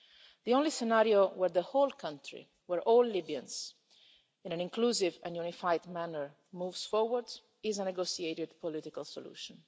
The only scenario where the whole country, where all Libyans, in an inclusive and unified manner, move forward, is a negotiated political solution.